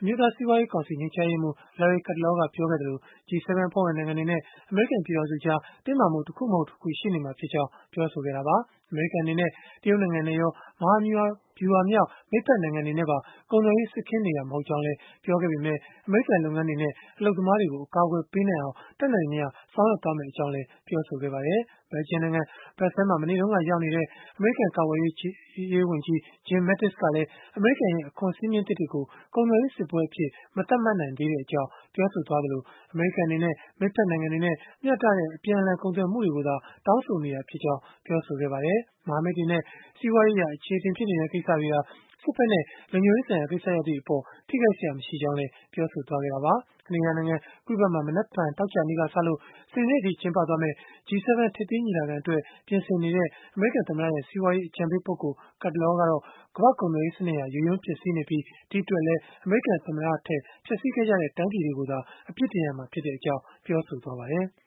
အမျိုးသားစီးပွားရေးကောင်စီ ညွှန်ကြားရေးမှူး Larry Kudlow က ပြောဆိုခဲ့သလို၊ G-7 အဖွဲ့ဝင်နိုင်ငံတွေနဲ့ အမေရိကန် ပြည်ထောင်စုကြား တင်းမာမှုတွေကတော့ တခုမဟုတ်တခု ရှိနေတဲ့အကြောင်းလည်း ပြောဆိုခဲ့တာပါ။ အမေရိကန် အနေနဲ့ တရုတ်နိုင်ငံနဲ့ရော မဟာဗျုဟာမြောက် မိတ်ဖက်နိုင်ငံတွေနဲ့ပါ ကုန်သွယ်ရေးစစ်ခင်းနေတာ မဟုတ်ကြောင်း ပြောခဲ့ပေမဲ့ အမေရိကန် လုပ်ငန်းတွေနဲ့ အလုပ်သမားတွေကို အကာအကွယ် ပေးနိုင်အောင် တတ်နိုင်သမျှ ဆောင်ရွက်သွားမှာ ဖြစ်ကြောင်းလည်း ပြောဆိုခဲ့ပါတယ်။ ဘယ်လ်ဂျီယံနိုင်ငံ ဘရပ်ဆဲလ်မြို့မှာ မနေ့တုန်းက ရောက်နေတဲ့ အမေရိကန် ကာကွယ်ရေးဝန်ကြီး Jim Mattis ကလည်း အမေရိကန်ရဲ့ အခွန်စည်းမျဉ်းသစ်တွေကို ကုန်သွယ်ရေးစစ်ပွဲအဖြစ် မသတ်မှတ်နိုင်သေးကြောင်း ပြောဆိုခဲ့သလို၊ အမေရိကန် အနေနဲ့ မိတ်ဖက်နိုင်ငံတွေနဲ့ မျှတတဲ့ အပြန်အလှန် ကုန်သွယ်မှုတွေကိုသာ တောင်းဆိုနေတာဖြစ်ကြောင်း ပြောဆိုခဲ့ပါတယ်။ မဟာမိတ်တွေနဲ့ စီးပွားရေးအရ အချေအတင်ဖြစ်နေတဲ့ ကိစ္စတွေဟာ စစ်ဘက်နဲ့ လုံခြုံရေးဆိုင်ရာ ကိစ္စရပ်တွေကို ထိခိုက်စရာ မရှိကြောင်းလည်း ပြောဆိုခဲ့တာပါ။ ကနေဒါနိုင်ငံ Quebec မှာ မနက်ဖြန်သောကြာနေ့ကစလို့ စနေနေ့အထိ ကျင်းပမယ့် G-7 ထိပ်သီးညီလာခံအတွက် ပြင်ဆင်နေတဲ့ အမေရိကန်သမ္မတရဲ့ စီးပွားရေးအကြံပေးပုဂ္ဂိုလ် Kudlow ကတော့ ကမ္ဘာ့ကုန်သွယ်ရေးစနစ်ဟာ ယိုယွင်းပျက်စီးနေပြီး၊ ဒီအတွက်လည်း အမေရိကန်သမ္မတထက်၊ ဖျက်ဆီးခဲ့ကြတဲ့ တိုင်းပြည်တွေကို အပြစ်တင်ရမှာဖြစ်ကြောင်း ပြောဆိုခဲ့ပါတယ်။